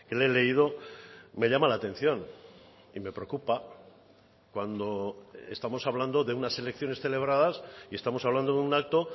le he leído me llama la atención y me preocupa cuando estamos hablando de unas elecciones celebradas y estamos hablando de un acto